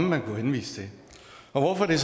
man kan henvise til hvorfor er